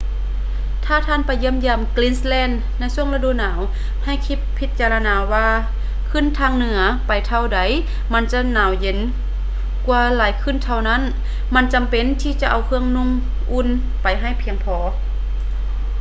ຖ້າທ່ານໄປຢ້ຽມຢາມ greenland ໃນຊ່ວງລະດູໜາວ ໃຫ້ຄິດພິຈາລະນາວ່າຂຶ້ນທາງເໜືອໄປເທົ່າໃດ ມັນຈະໜາວເຢັນກວ່າຫຼາຍຂຶ້ນເທົ່ານັ້ນ ມັນຈຳເປັນທີ່ຈະເອົາເຄື່ອງນຸ່ງອຸ່ນໄປໃຫ້ພຽງພໍ